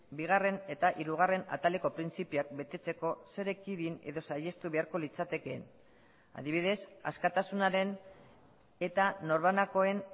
bigarren eta hirugarren ataleko printzipioak betetzeko zer ekidin edo saihestu beharko litzatekeen adibidez askatasunaren eta norbanakoen